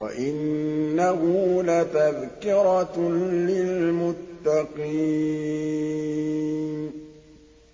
وَإِنَّهُ لَتَذْكِرَةٌ لِّلْمُتَّقِينَ